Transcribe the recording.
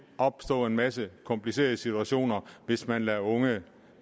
opstå en masse komplicerede situationer hvis man lader unge